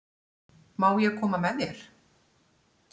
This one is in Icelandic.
Má ég koma með þér?